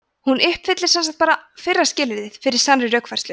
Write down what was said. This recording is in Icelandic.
hún uppfyllir sem sagt bara fyrra skilyrðið fyrir sannri rökfærslu